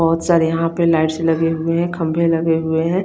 बोहोत सारे यहाँ पे लाइट्स लगे हुए हे खम्बे लगे हुए है।